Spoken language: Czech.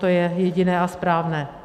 To je jediné a správné.